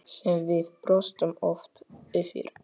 Sem við brostum oft yfir.